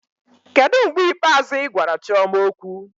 Kedu mgbe ikpeazụ ị gwara Chima okwu?